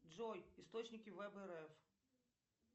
джой источники вэб рф